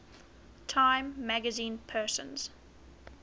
time magazine persons